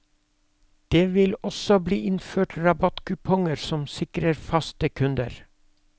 Det vil også bli innført rabattkuponger som sikrer faste kunder.